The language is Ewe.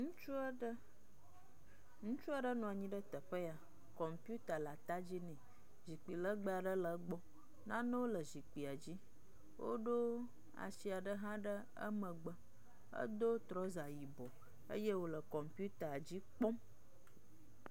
Ŋutsu aɖe. Ŋutsu aɖe nɔ anyi ɖe teƒe ya. kɔmputa le at dzi nɛ. Zikpui legbe aɖe le egbɔ. Nanewo le zikpuia dzi. Woɖo asi aɖe hã ɖe emegbe. Edo trɔza yibɔ eye wo le kɔmputa dzi kpɔm.